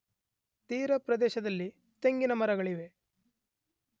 ತೀರಪ್ರದೇಶದಲ್ಲಿ ತೆಂಗಿನ ಮರಗಳಿವೆ.